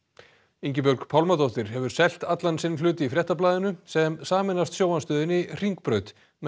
Ingibjörg Pálmadóttir hefur selt allan sinn hlut í Fréttablaðinu sem sameinast sjónvarpsstöðinni Hringbraut með